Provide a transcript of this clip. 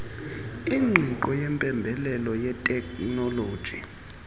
ingqiqo yempembelelo yeteknoloji